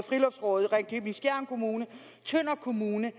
friluftsrådet ringkøbing skjern kommune tønder kommune